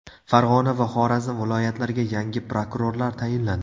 Farg‘ona va Xorazm viloyatlariga yangi prokurorlar tayinlandi.